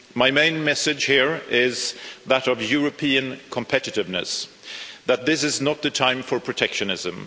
My main message here is that of European competitiveness, that this is not the time for protectionism.